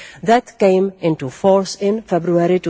that came into force in February